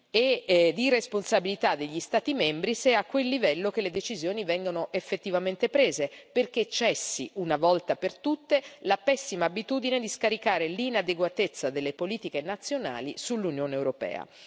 e le responsabilità degli Stati membri, se è a quel livello che le decisioni vengono effettivamente prese, perché cessi, una volta per tutte, la pessima abitudine di scaricare l'inadeguatezza delle politiche nazionali sull'Unione europea.